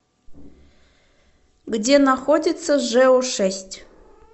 где находится жэу шесть